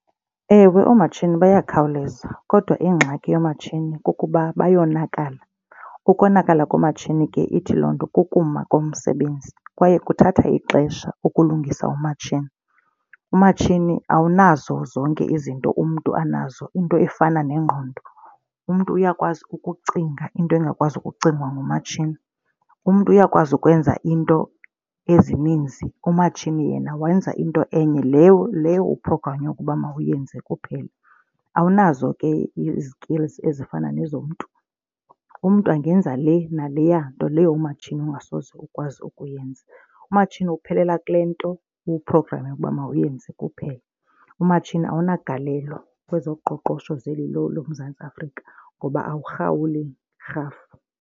Ewe, oomatshini bayakhawuleza kodwa ingxaki yoomatshini kukuba bayonakala. Ukonakala komatshini ke ithi loo nto kukuma komsebenzi, kwaye kuthatha ixesha ukulungisa umatshini. Umatshini awunazo zonke izinto umntu anazo into efana nengqondo. Umntu uyakwazi ukucinga into engakwazi ukucingwa ngumatshini. Umntu uyakwazi ukwenza iinto ezininzi umatshini yena wenza into enye leyo uphrogranywe ukuba mawuyenze kuphela, awunazo ke izikilzi ezifana nezo umntu. Umntu angenza le naleya nto leyo umatshini ongasoze ukwazi ukuyenza. Umatshini uphelela kule nto uwuphrograme ukuba mawuyenze kuphela. Umatshini awunagalelo kwezoqoqosho zeli lo loMzantsi Afrika ngoba awuhlawuli rhafu.